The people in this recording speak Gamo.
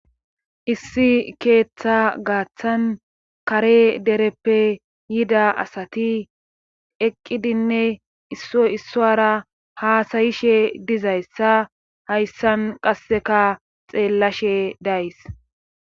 Issi keeththa gaaththan kare dereppe yida asati eqqidinne issora haasayishe dizayssa hayssan qasseka xeellashe days